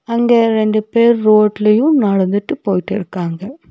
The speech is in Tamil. அங்க ரெண்டு பேர் ரோட்லையு நடந்துட்டு போயிட்டிருக்காங்க.